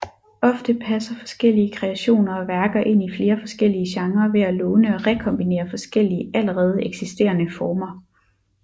Ofte passer forskellige kreationer og værker ind i flere forskellige genrer ved at låne og rekombinere forskellige allerede eksisterende former